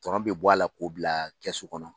Tɔnɔ bɛ bɔ a la k'o bila kɛsu kɔnɔ